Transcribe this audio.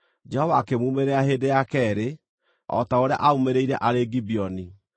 Jehova akĩmuumĩrĩra hĩndĩ ya keerĩ, o ta ũrĩa aamuumĩrĩire arĩ Gibeoni.